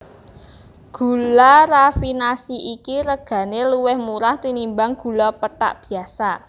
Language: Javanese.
Gula rafinasi iki regané luwih murah tinimbang gula pethak biyasa